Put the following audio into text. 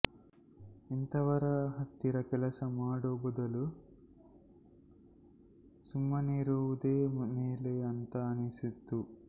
ಇಂಥವರ ಹತ್ತಿರ ಕೆಲಸ ಮಾಡೋ ಬದಲು ಸುಮ್ಮನಿರುವುದೇ ಮೇಲೆ ಅಂತ ಅನಿಸಿತು